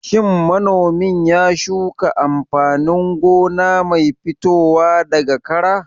Shin manomin ya shuka amfanin gona mai fitowa daga kara?